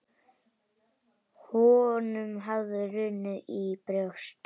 Honum hafði runnið í brjóst.